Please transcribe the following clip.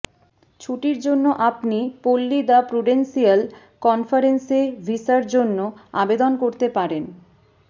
ছুটির জন্য আপনি পল্লী দ্য প্রুডেন্সিয়াল কনফারেন্সে ভিসার জন্য আবেদন করতে পারেন